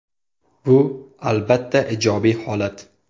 Bu, albatta, ijobiy holat.